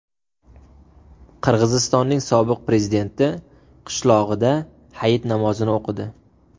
Qirg‘izistonning sobiq prezidenti qishlog‘ida hayit namozini o‘qidi.